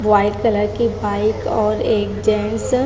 white colour की bike और एक जेंट्स --